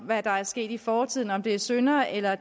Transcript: hvad der er sket i fortiden altså om det er synder eller